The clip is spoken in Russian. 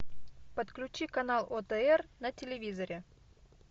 подключи канал отр на телевизоре